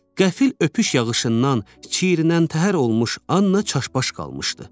Qəfil öpüş yağışından çiyirlənən təhər olmuş Anna çaşbaş qalmışdı.